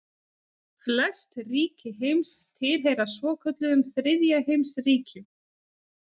Flest ríki heims tilheyra svokölluðum þriðja heims ríkjum.